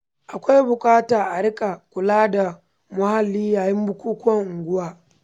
Akwai buƙatar a riƙa kula da muhalli yayin bukukuwan unguwa.